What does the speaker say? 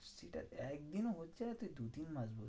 ঠিকাছে, একদিনও হচ্ছে না তুই দুতিন মাস বলছিস।